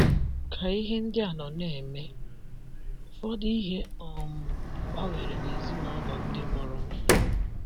Ka ihe ndị a nọ na - eme, ụfọdụ ihe um gbanwere n’ezinụlọ ndị mụrụ m.